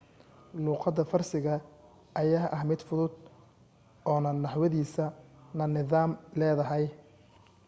luuqada farsiga ayaa ah mid fudud oo na naxwadiisa na nidaam leedahay